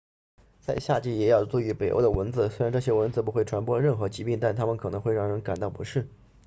在夏季也要注意北欧的蚊子虽然这些蚊子不会传播任何疾病但它们可能会让人感到不适